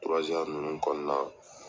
ninnu kɔnɔna na.